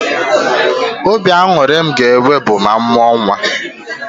Obi aṅụrị m ga-enwe bụ ma m mụọ nnwa